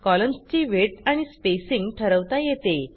कॉलम्सची width आणि spacing ठरवता येते